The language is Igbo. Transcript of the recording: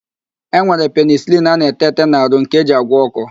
E nwere penịsịlịn a na-ete ete n'arụ nke eji agwọ ọ́kọ́.